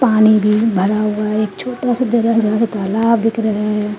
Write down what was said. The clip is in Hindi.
पानी भी भरा हुआ है एक छोटा सा जरा जहां से तालाब दिख रहा है।